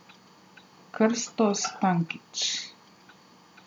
Krsto Stankić.